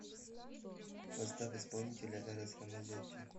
поставь исполнителя эрос рамазотти